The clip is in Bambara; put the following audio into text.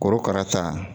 Korokara ta